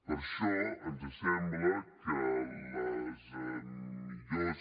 per això ens sembla que les millors